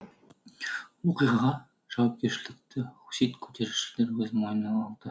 оқиғаға жауапкершілікті хусит көтерілісшілер өз мойнына алды